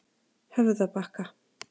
Höfðabakka